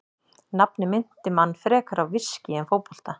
Nafnið minnti mann frekar á viskí en fótbolta.